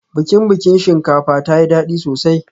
Bikin biki shinkafa tayi dadi sosai